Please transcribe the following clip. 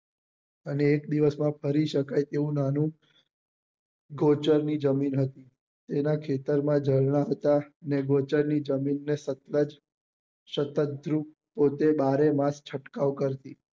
અને એક દિવસ માં ફરી સકાય તેવું નાનુ ગૌચર ની જમીન હતી એના ખેતર માં ઝરણા હતા ને ગૌચર ની જમીન ને સતલજ થી સતત પોતે બારેમાસ છંટકાવ કરતી